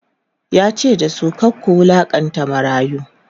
yace da su"kar ku wulaƙanta marayu!"